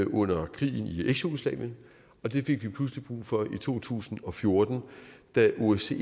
under krigen i eksjugoslavien og det fik vi pludselig brug for i to tusind og fjorten da osce